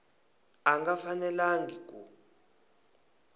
a a nga fanelangi ku